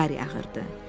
Qar yağırdı.